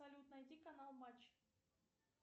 салют найди канал матч